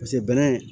Paseke bɛnɛ